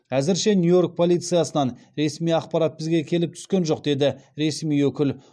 әзірше нью йорк полициясынан ресми ақпарат бізге келіп түскен жоқ деді ресми өкіл